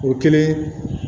O kɛlen